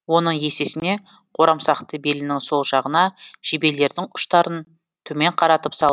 оның есесіне қорамсақты белінің сол жағына жебелердің ұштарын төмен қаратып салып